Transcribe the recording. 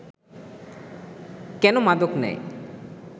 কেন মাদক নেয়